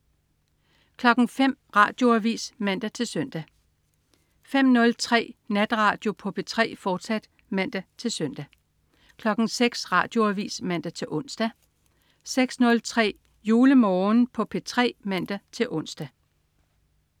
05.00 Radioavis (man-søn) 05.03 Natradio på P3, fortsat (man-søn) 06.00 Radioavis (man-ons) 06.03 JuleMorgen på P3 (man-ons)